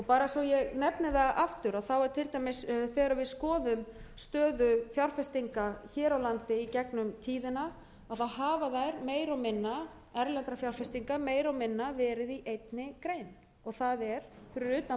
bara svo ég nefni það aftur er til dæmis þegar við skoðum stöðu fjárfestinga hér á landi í gegnum tíðina þá hafa þeir meira og minna erlendra fjárfestinga meira og minna verið í einni grein og það er fyrir utan